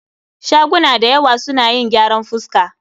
Shaguna dayawa suna yin gyaran fuska